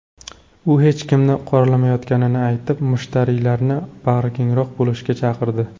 U hech kimni qoralamayotganini aytib, mushtariylarni bag‘rikengroq bo‘lishga chaqirdi.